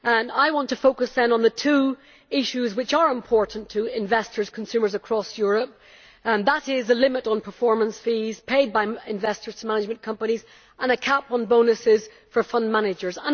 I want to focus then on the two issues which are important to investors and consumers across Europe, and that is the limit on performance fees paid by investors to management companies and a cap on bonuses for fund managers.